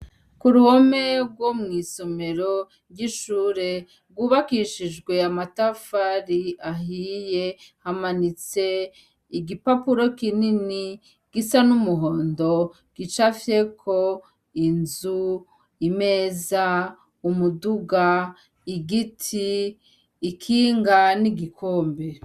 Kuruhome rwo mw’isomero ry’ishure, rw’ubakishijwe amatafari ahiye, hamanitse ,igipapuro kinini gisa n’umuhondo gicapfyeko ,inzu, imeza, igiti , ikinga, n’igikombe.